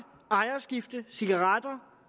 på ejerskifte cigaretter